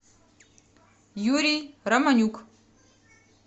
юрий романюк